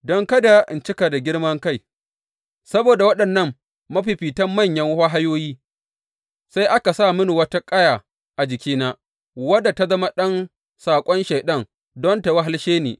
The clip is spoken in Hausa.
Don kada in cika da girman kai saboda waɗannan mafifitan manyan wahayoyi, sai aka sa mini wata ƙaya a jikina wadda ta zama ɗan saƙon Shaiɗan, don ta wahalshe ni.